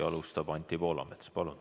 Alustab Anti Poolamets.